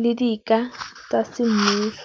le di ka tsa semmuso.